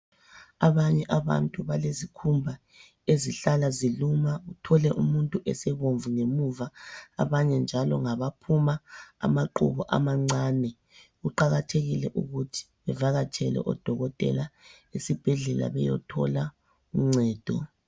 Abanye abantu balezikhumba ezihlala ziluma uthole umuntu sebomvu ngemuva abanye njalo ngabaphuma amaqhubu amancane. Kuqakathekile ukuthi uvakatshele odokotela esibhedlela uyethola uncedo.